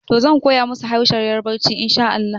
Toh, zan koya musu harshen yarbanci inshaAllahu